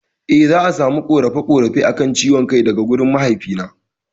Eh za'a samu ƙarin ƙorafe ƙorafe akan ciwon kai daga wurin mahaifi na